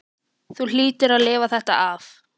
Þú hlýtur að lifa þetta af.